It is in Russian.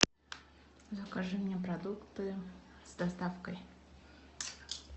закажи мне продукты с доставкой